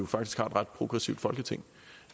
faktisk har et ret progressivt folketing